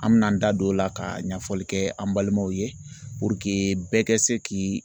An bɛna an da don o la ka ɲɛfɔli kɛ an balimaw ye puruke bɛɛ kɛ se k'i